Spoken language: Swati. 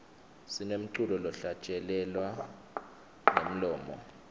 sinemculo lohlatjelelwa ngemlomo